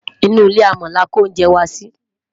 inú ilé amò là kò oúnjẹ wà Si